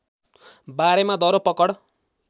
बारेमा दरो पकड